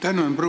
Tänan!